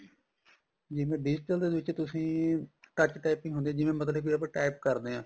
ਜਿਵੇਂ digital ਦੇ ਵਿੱਚ ਤੁਸੀਂ touch typing ਹੁੰਦੀ ਏ ਜਿਵੇਂ ਮਤਲਬ ਕੀ ਆਪਾਂ type ਕਰਦੇ ਆ